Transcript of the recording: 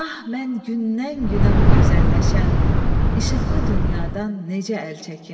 Ah mən gündən-günə bu gözəlləşən, işıqlı dünyadan necə əl çəkim?